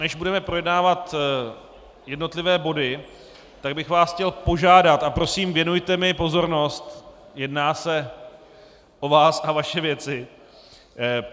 Než budeme projednávat jednotlivé body, tak bych vás chtěl požádat - a prosím věnujte mi pozornost - jedná se o vás a vaše věci.